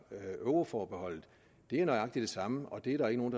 med euroforbeholdet er nøjagtig det samme og det er der ikke nogen